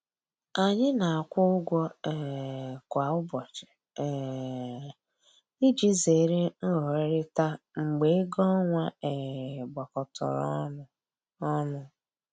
Anyị na-akwụ ụgwọ um kwa ụbọchị um iji zere nghọherita mgbe ego ọnwa um gbakọtọrọ ọnụ ọnụ